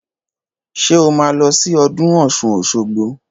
Ṣé o máa lọ sí ọdún ọ̀ṣun òṣogbo?